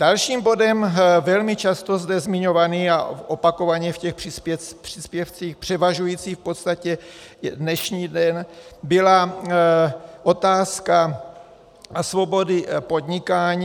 Dalším bodem velmi často zde zmiňovaným a opakovaně v těch příspěvcích převažujícím v podstatě dnešní den byla otázka svobody podnikání.